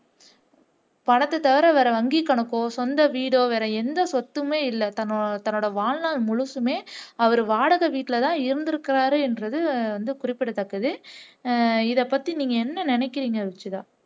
பணத்தை தவிர வேற வங்கி கணக்கோ சொந்த வீடோ எந்த சொத்துமே இல்லை தன் தன்னோட வாழ்நாள் முழுசுமே அவர் வாடகை வீட்லதான் இருந்திருக்கிறார் என்பது குறிப்பிடத்தக்கது ஆஹ் இதைப்பத்தி நீங்க என்ன நினைக்கிறீங்க ருஷிதா